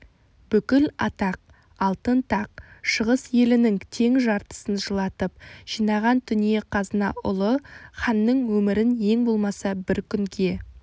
бүкіл атақ алтын тақ шығыс елінің тең жартысын жылатып жинаған дүние-қазына ұлы ханның өмірін ең болмаса бір күнге